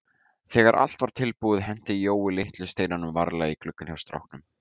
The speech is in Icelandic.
Þegar allt var tilbúið henti Jói litlu steinunum varlega í gluggann hjá stráknum.